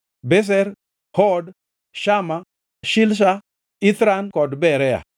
Bezer, Hod, Shama, Shilsha, Ithran kod Beera.